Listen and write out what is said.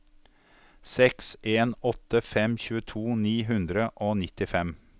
seks en åtte fem tjueto ni hundre og nittifem